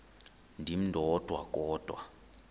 ndim ndodwa kodwa